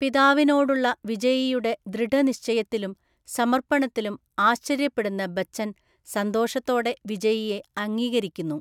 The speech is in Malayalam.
പിതാവിനോടുള്ള വിജയിയുടെ ദൃഢനിശ്ചയത്തിലും സമർപ്പണത്തിലും ആശ്ചര്യപ്പെടുന്ന ബച്ചൻ സന്തോഷത്തോടെ വിജയിയെ അംഗീകരിക്കുന്നു.